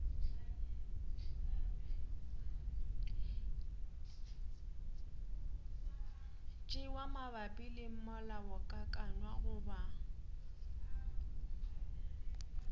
tšewa mabapi le molaokakanywa goba